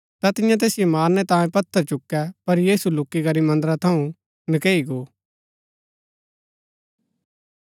ता तियें तैसिओ मारणै तांयें पत्थर चुकै पर यीशु लुक्‍की करी मन्दरा थऊँ नकैई गो